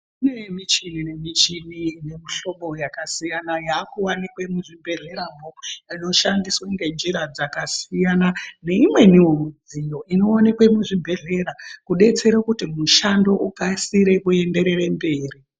Kune muchini ne muchini ine mu hlobo yaka siyana siyana yaku wanikwe mu zvibhedhlera mwo ino shandiswe nge njira dzaka siyana ne imweniwo mudziyo ino onekwe mu zvibhedhlera ku detsera mushando ukasire ku enderere mberi.